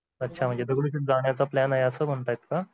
अच्छा म्हणजे दगडूशेट जाण्याचा plan आहे असं म्हणताय का